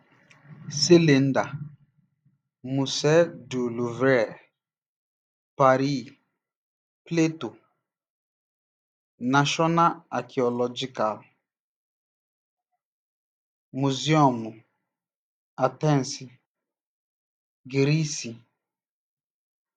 Silinda: Musée du Louvre, Pari; Plato: Nashọna Akiolojikal Mụzịọmụ, Atensi, Giriisi.